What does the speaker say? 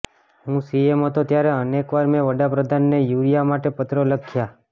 હું સીએમ હતો ત્યારે અનેક વાર મેં વડાપ્રધાનને યુરિયા માટે પત્રો લખ્યા